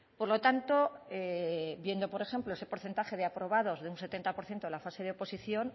por lo tanto viendo por ejemplo ese porcentaje de aprobados de un setenta por ciento en la fase de oposición